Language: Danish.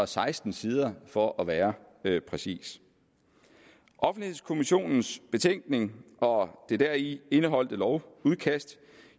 seksten sider for at være præcis offentlighedskommissionens betænkning og det deri indeholdte lovudkast